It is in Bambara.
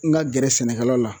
N ka gɛrɛ sɛnɛkɛlaw la